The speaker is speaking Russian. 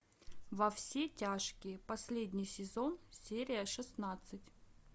во все тяжкие последний сезон серия шестнадцать